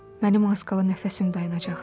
Mənim az qala nəfəsim dayanacaqdı.